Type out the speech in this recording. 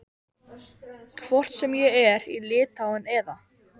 Kvittað var fyrir móttöku peninganna með blýanti á línustrikað spjald.